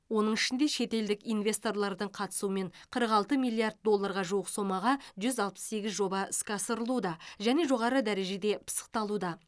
оның ішінде шетелдік инвесторлардың қатысуымен қырық алты миллиард долларға жуық сомаға жүз алпыс сегіз жоба іске асырылуда және жоғары дережеде пысықталуда